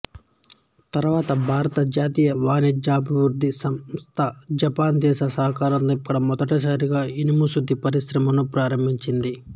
తరువాత భారత జాతీయ ఖణిజాభివృద్ది సంస్థ జపాన్ దేశ సహకారంతో ఇక్కడ మొదటిసారిగా ఇనుము శుద్ధి పరిశ్రమను ప్రారంభించింది